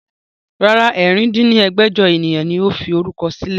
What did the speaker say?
Rárá, ẹ̀rin dín ní ẹgbẹ́jọ ènìyàn ni ó fi orúkọ sílẹ̀